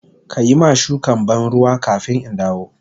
Ka yi ma shukan ban ruwa kafin in dawo.